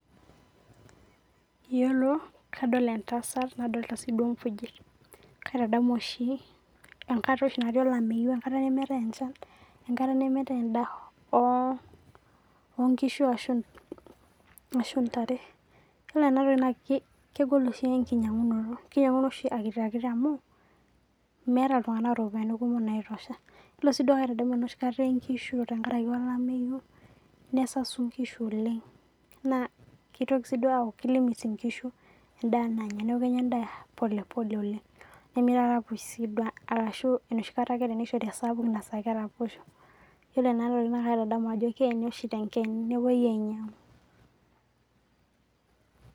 iyiolo kadol entasat, nadoolta siduo nkujit. kaitadamu oshi enkata neemetae enchan, enkata nemeetae edaa, oonkisu ashu intare, ore ena toki kegol enkinyiang'unoto. kinyiang'uni oshi akitiakiti au meeta itunganak iropiyiani kumok naitosha, iyiolo siiduo enoshi kata eye nkishu tenkaraki olameyu, nesau nkishu oenng. kitoki sii aaku ki limit inkishu edaa nanya, keeku kenya eda polepole oleng, nemeitoki sii aaraposho. arashu enoshi kata ake teneishori esapuk naa keraposho. ore ena toki naa kaitadamu ajo keeni oshi te nkeene nepuoi ainyiang'u.